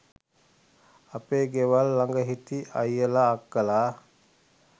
අපේ ගෙවල් ළඟ හිටි අයියලා අක්කලා